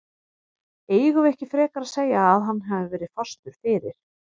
Eigum við ekki frekar að segja að hann hafi verið fastur fyrir?